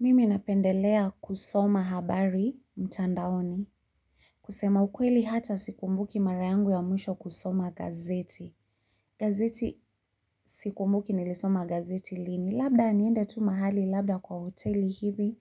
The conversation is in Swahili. Mimi napendelea kusoma habari mtandaoni kusema ukweli hata sikumbuki mara yangu ya mwisho kusoma gazeti. Gazeti sikumbuki nilisoma gazeti lini. Labda niende tu mahali labda kwa hoteli hivi